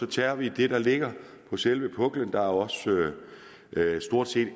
tager vi det der ligger på selve puklen jo også stort set